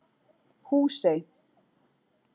Húsey